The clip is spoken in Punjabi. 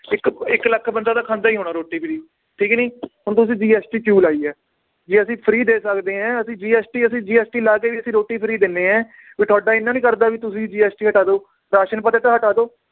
ਇਕ ਇੱਕ ਲਖ ਬੰਦਾ ਤਾਂ ਖਾਂਦਾ ਈ ਹੋਣਾ ਰੋਟੀ free ਠੀਕ ਨੀ ਹੁਣ ਤੁਸੀਂ GST ਕਿਊ ਲਾਈ ਏ ਜੇ ਅਸੀ free ਦੇ ਸਕਦੇ ਏ ਅਸੀਂ GST ਅਸੀਂ GST ਲਾ ਕੇ ਵੀ ਅਸੀਂ ਰੋਟੀ free ਦਿੰਨੇ ਏ ਵੀ ਤੁਹਾਡਾ ਇੰਨਾ ਨੀ ਕਰਦਾ ਵੀ ਤੁਸੀਂ GST ਹਟਾ ਦਓ ਰਾਸ਼ਨ ਤਾਂ ਹਟਾ ਦਓ।